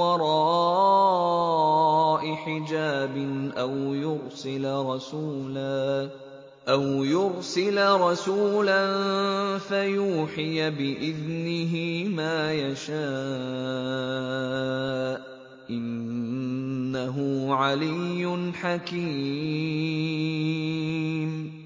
وَرَاءِ حِجَابٍ أَوْ يُرْسِلَ رَسُولًا فَيُوحِيَ بِإِذْنِهِ مَا يَشَاءُ ۚ إِنَّهُ عَلِيٌّ حَكِيمٌ